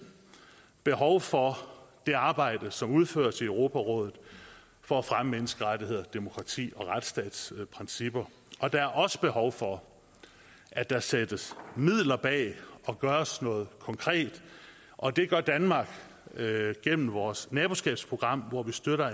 behov for det arbejde som udføres i europarådet for at fremme menneskerettigheder demokrati og retsstatsprincipper der er også behov for at der sættes midler bag og gøres noget konkret og det gør danmark gennem vores naboskabsprogram hvor vi støtter